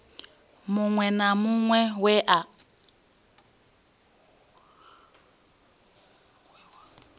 muṅwe na muṅwe we wa